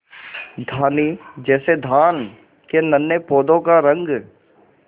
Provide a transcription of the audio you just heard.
धानी जैसे धान के नन्हे पौधों का रंग